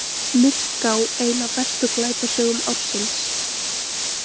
Myrká ein af bestu glæpasögum ársins